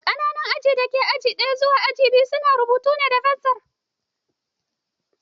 Ƙananan aji daga aji ɗaya zuwa aji biyu su na rubutu da fensir